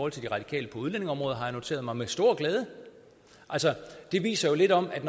af de radikale på udlændingeområdet har jeg noteret mig med stor glæde altså det viser jo lidt om at